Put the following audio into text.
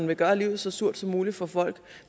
vil gøre livet så surt som muligt for folk